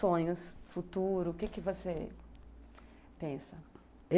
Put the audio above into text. Sonhos, futuro, o que você pensa?